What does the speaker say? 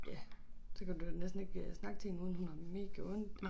Ja så kan du næsten ikke øh snakke til hende uden hun har megaondt